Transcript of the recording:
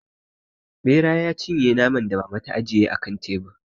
Ɓera ta cinye naman da mama na ta ajiye a kan tebur.